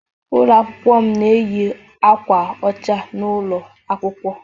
Ụlọ akwụkwọ m na-eyi akwa ọcha n'ụlọ akwụkwọ.